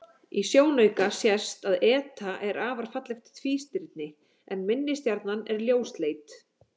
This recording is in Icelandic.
Í sjónauka sést að eta er afar fallegt tvístirni en minni stjarnan er ljósleit.